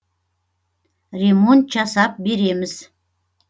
ремонт жасап береміз